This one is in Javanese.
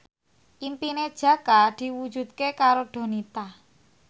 impine Jaka diwujudke karo Donita